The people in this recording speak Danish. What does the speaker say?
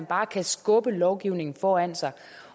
bare at skubbe lovgivningen foran sig